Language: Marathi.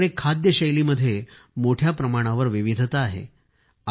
आपल्याकडे खाद्यशैलीमध्ये मोठ्या प्रमाणावर विविधता आहे